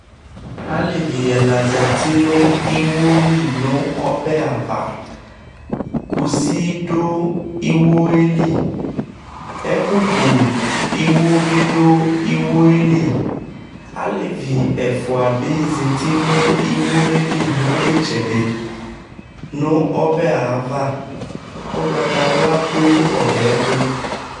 alevi ɛla zati no iwo li no ɔbɛ ava kusi do iwo yɛ li ɛko ku iwo bi do iwo yɛ li alevi ɛfua bi zati no iwo yɛ li no itsɛdi no ɔbɛ ava ugbata wla do ɔbɛ to